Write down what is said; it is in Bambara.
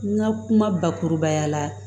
N ka kuma bakurubaya la